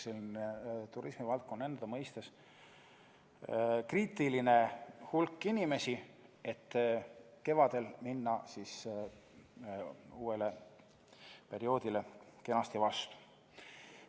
See on turismivaldkonna seisukohalt kriitiline hulk inimesi, et kevadel minna uuele perioodile kenasti vastu.